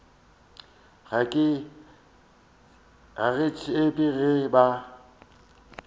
ga ke tsebe ge ba